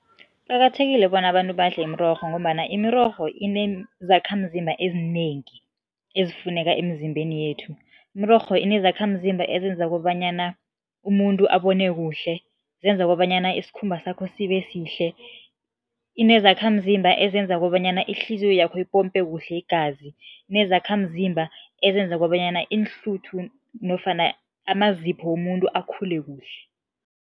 Kuqakathekile bona abantu badle imirorho ngombana imirorho inezakhamzimba ezinengi ezifuneka emzimbeni yethu. Imirorho inezakhamzimba ezenza kobanyana umuntu abone kuhle, zenza kobanyana isikhumba sakho sibe sihle, inezakhamzimba ezenza kobanyana ihliziyo yakho ipompe kuhle igazi, inezakhamzimba ezenza kobanyana iinhluthu nofana amazipho womuntu akhule kuhle.